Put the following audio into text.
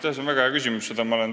See on väga hea küsimus.